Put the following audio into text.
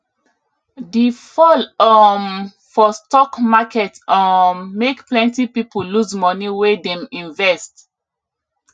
di fall um for stock market um make plenty people lose money wey dem invest